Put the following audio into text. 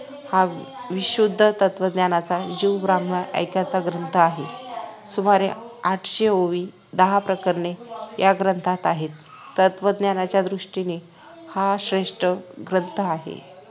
हा विशुद्ध तत्वज्ञानाचा जीव ब्राम्ह ऐक्याच्या ग्रंथ आहे सुमारे आठशे ओव्या दहा प्रकरणे या ग्रंथात आहेत तत्त्वज्ञानाच्या दृष्टीने हा श्रेष्ठ ग्रंथ आहे